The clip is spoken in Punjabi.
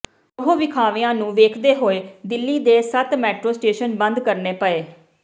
ਰੋਹ ਵਿਖਾਵਿਆਂ ਨੂੰ ਵੇਖਦੇ ਹੋਏ ਦਿੱਲੀ ਦੇ ਸੱਤ ਮੈਟਰੋ ਸ਼ਟੇਸ਼ਨ ਬੰਦ ਕਰਨੇ ਪਏ